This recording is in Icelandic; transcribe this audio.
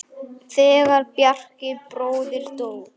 Þegar Bjarki bróðir dó.